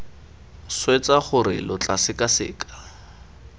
swetsa gore lo tla sekaseka